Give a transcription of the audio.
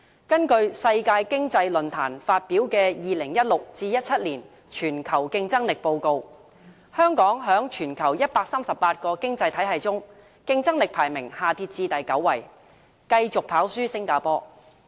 根據世界經濟論壇發表的《2016-2017 年全球競爭力報告》，香港在全球138個經濟體系中，競爭力排名下跌至第九位，繼續跑輸新加坡。